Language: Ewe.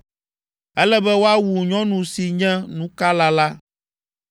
“Ele be woawu nyɔnu si nye nukala la.